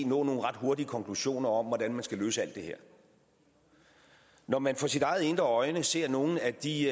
nogle ret hurtige konklusioner om hvordan man skal løse alt det her når man for sit eget indre øje ser nogle af de